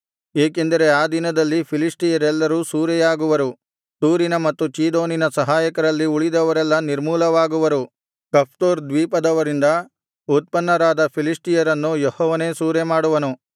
ಏಕೆಂದರೆ ಆ ದಿನದಲ್ಲಿ ಫಿಲಿಷ್ಟಿಯರೆಲ್ಲರೂ ಸೂರೆಯಾಗುವರು ತೂರಿನ ಮತ್ತು ಚೀದೋನಿನ ಸಹಾಯಕರಲ್ಲಿ ಉಳಿದವರೆಲ್ಲಾ ನಿರ್ಮೂಲವಾಗುವರು ಕಫ್ತೋರ್ ದ್ವೀಪದವರಿಂದ ಉತ್ಪನ್ನರಾದ ಫಿಲಿಷ್ಟಿಯರನ್ನು ಯೆಹೋವನೇ ಸೂರೆಮಾಡುವನು